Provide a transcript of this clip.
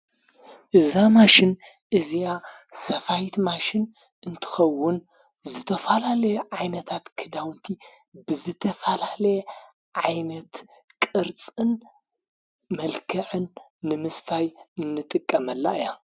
እዛማሽን እዚያ ሰፋይት ማሽን እንትኸውን ዘተፈላለየ ዓይመታት ክዳውቲ ብዘተፋላለየ ዓይመት ቕርጽን መልከዕን ምምስፋይ እንጥቀመላ እያ።